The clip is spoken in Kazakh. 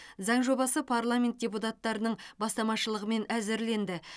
заң жобасы парламент депутаттарының бастамашылығымен әзірленді